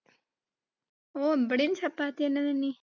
ഓ ഇവിടെയും chapathi തന്നെ നന്നി.